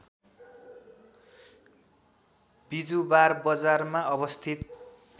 बिजुवार बजारमा अवस्थित